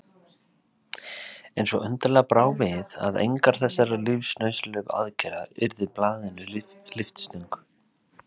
En svo undarlega brá við að engar þessara lífsnauðsynlegu aðgerða urðu blaðinu lyftistöng.